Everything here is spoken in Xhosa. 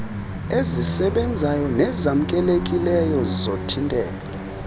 ezisebenzayo nezamkelekileyo zokuthintela